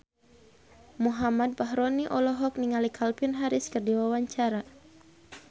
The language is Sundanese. Muhammad Fachroni olohok ningali Calvin Harris keur diwawancara